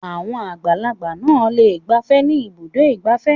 Àwọn àgbàlagbà náà le gbafẹ́ ní Ibùdó-ìgbafẹ́.